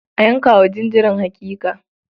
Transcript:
A yanka wa jinjirin hakika.